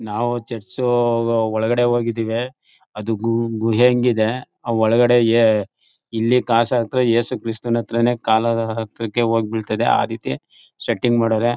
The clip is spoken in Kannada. ನಾವು ಚರ್ಚ್ ಒಳ್ಗಡೆಗೆ ಹೋಗಿದ್ದಿವಿ ಅದು ಗು ಗುಹೇಂಗ್ ಇದೆ ಅವು ಒಳ್ಗಡೆ ಇಲ್ಲಿ ಕಾಸ್ ಹಾಕ್ದರೆ ಯೇಸು ಕ್ರಿಸ್ತನ ಹತ್ರನೇ ಕಾಲ್ ಹತ್ರಕ್ಕೆ ಹೋಗ್ ಬೀಳ್ತಾದೆ ಆ ರೀತಿ ಸೆಟ್ಟಿಂಗ್ ಮಾಡವ್ರೆ.